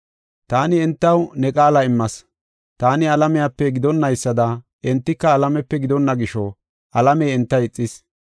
Taani entaw ne qaala immas. Taani alamiyape gidonaysada, entika alamiyape gidonna gisho, alamey enta ixis.